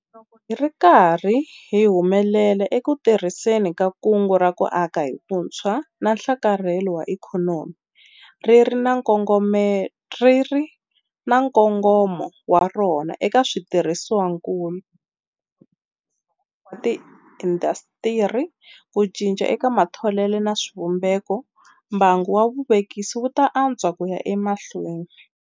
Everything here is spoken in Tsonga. Loko hi ri karhi hi humelela eku tirhiseni ka Kungu ra ku Aka hi Vutshwa na Nhlakarhelo wa Ikhonomi - ri ri na nkongomo wa rona eka switirhisiwakulu, nhluvukiso wa tiindasitiri, ku cinca eka matholelo na swivumbeko - mbangu wa vuvekisi wu ta antswa ku ya emahlweni.